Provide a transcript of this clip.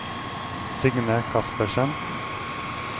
Signe Kaspersen